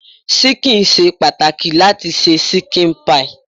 Ṣíkìn ṣe pàtàkì láti se ṣíkìn pie.